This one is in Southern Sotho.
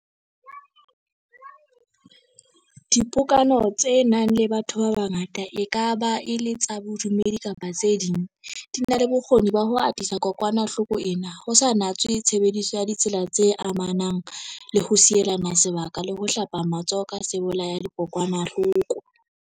Dipokano tse nang le batho ba bangata, e ka ba e le tsa bodumedi kapa tse ding, di na le bokgoni ba ho atisa kokwanahloko ena, ho sa natswe tshebediso ya ditsela tse amanang le ho sielana se baka le ho hlapa matsoho ka sebolaya-dikokwanahloko.